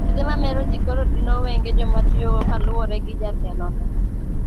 Yedhe mamer ji koro dino wenge jomatiyogo kaluore gi jatelo no